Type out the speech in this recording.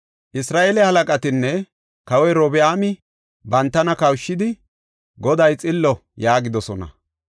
Isra7eele halaqatinne kawoy Robi7aami, bantana kawushidi, “Goday xillo” yaagidosona.